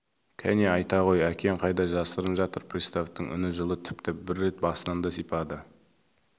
кәне айта ғой әкең қайда жасырынып жатыр приставтың үні жылы тіпті бір рет басынан да сипады